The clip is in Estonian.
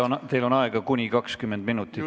Teil on aega kuni 20 minutit.